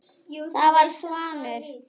Það var Svanur.